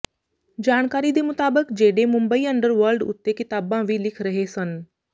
ਜਾਣਕਾਰੀ ਦੇ ਮੁਤਾਬਕ ਜੇਡੇ ਮੁੰਬਈ ਅੰਡਰਵਰਲਡ ਉੱਤੇ ਕਿਤਾਬਾਂ ਵੀ ਲਿਖ ਰਹੇ ਸਨ